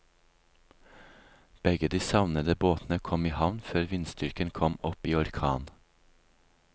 Begge de savnede båtene kom i havn før vindstyrken kom opp i orkan.